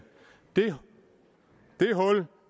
det hul